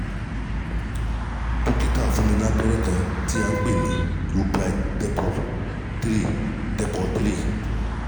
Dókítà fún mi ní abẹ́rẹ́ kan tí à ń pè ní lupride depot three depot three